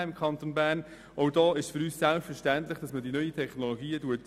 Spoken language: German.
Es ist für uns selbstverständlich, dass man die neuen Technologien einbaut.